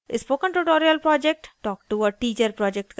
spoken tutorial project talk to a teacher project का हिस्सा है